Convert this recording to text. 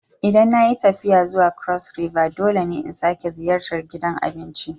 Idan na yi tafiya zuwa Cross River dole ne in sake ziyartar gidan abincin.